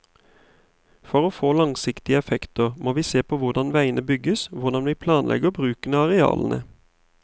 For å få langsiktige effekter, må vi se på hvordan veiene bygges, hvordan vi planlegger bruken av arealene.